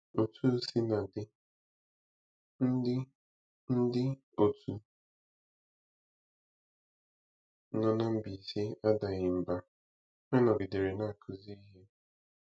Otu o sila dị, ndị ndị otu nọ na Mbaise adaghị mbà; ha nọgidere na-akụzi ihe.